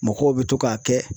Mɔgɔw bɛ to k'a kɛ